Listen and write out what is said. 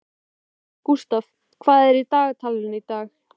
Gústaf, hvað er í dagatalinu í dag?